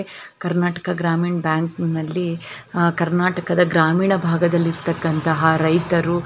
ಕರ್ನಾಟಕ ಗ್ರಾಮೀಣ್ ಬ್ಯಾಂಕ್ನಲ್ಲಿ ಆ ಕರ್ನಾಟಕದ ಗ್ರಾಮೀಣ ಭಾಗದಲ್ಲಿ ಇರ್ತಕನಂಥಹ ರೈತರು --